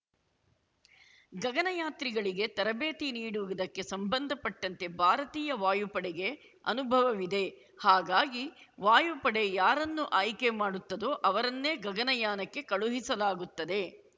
ಗಗನಯಾತ್ರಿಗಳಿಗೆ ತರಬೇತಿ ನೀಡುವುದಕ್ಕೆ ಸಂಬಂಧಪಟ್ಟಂತೆ ಭಾರತೀಯ ವಾಯುಪಡೆಗೆ ಅನುಭವವಿದೆ ಹಾಗಾಗಿ ವಾಯುಪಡೆ ಯಾರನ್ನು ಆಯ್ಕೆ ಮಾಡುತ್ತದೋ ಅವರನ್ನೇ ಗಗನಯಾನಕ್ಕೆ ಕಳುಹಿಸಲಾಗುತ್ತದೆ